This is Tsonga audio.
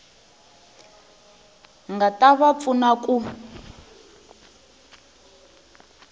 nga ta va pfuna ku